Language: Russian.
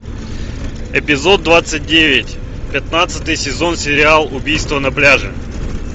эпизод двадцать девять пятнадцатый сезон сериал убийство на пляже